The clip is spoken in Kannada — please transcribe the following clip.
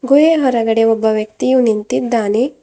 ಗುಹೆ ಹೊರಗಡೆ ಒಬ್ಬ ವ್ಯಕ್ತಿಯು ನಿಂತಿದ್ದಾನೆ.